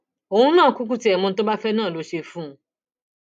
òun náà kúkú tiẹ mọ ohun tó bá fẹ náà ni n óò ṣe fún un